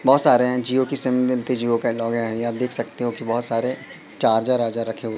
बहोत सारे जिओ की सिम मिलती जिओ यहाँ आप देख सकते हो की बहोत सारे चार्जर अर्जर रखे हुए--